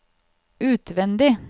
utvendig